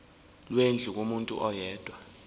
lwendlu kumuntu oyedwa